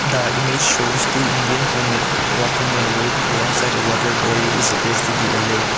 the image shows two indian women walking in a road alone side a water body which appears to be a lake.